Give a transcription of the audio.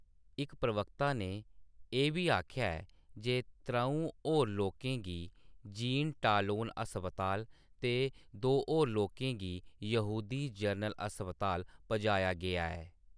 इक प्रवक्ता ने एह् बी आखेआ ऐ जे त्र'ऊं होर लोकें गी जीन-टालोन अस्पताल ते दो होर लोकें गी यहूदी जनरल अस्पताल पजाया गेआ ऐ।